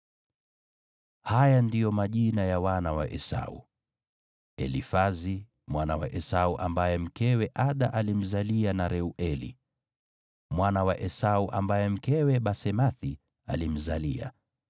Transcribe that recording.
Haya ndiyo majina ya wana wa Esau: Elifazi, mwana wa Esau ambaye mkewe Ada alimzalia; na Reueli, mwana wa Esau ambaye mkewe Basemathi alimzalia.